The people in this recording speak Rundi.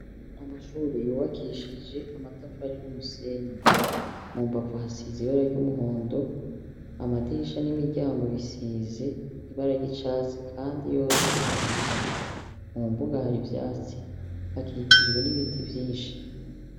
Amashuri yuwakishije amatafari n'umusenyi mu mbavu hasize ibara ry'umuhondo amadisha n'imiryango bisize ibara ry'icatsi, kandi yose arugaye mu mbuga hari ivyatsi akikijwe n'ibiti vyinshi.